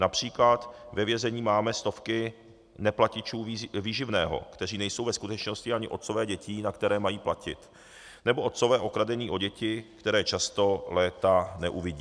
Například ve vězení máme stovky neplatičů výživného, kteří nejsou ve skutečnosti ani otcové dětí, na které mají platit, nebo otcové okradení o děti, které často léta neuvidí.